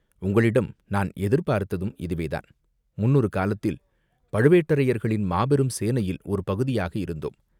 "உங்களிடம் நான் எதிர்பார்த்ததும் இதுவேதான்!" "முன்னொரு காலத்தில் பழுவேட்டரையர்களின் மாபெரும் சேனையில் ஒரு பகுதியாக இருந்தோம்.